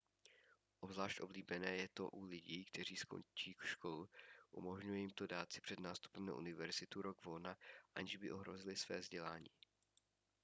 obzvlášť oblíbené je to u lidí kteří končí školu umožňuje jim to dát si před nástupem na univerzitu rok volna aniž by ohrozili své vzdělání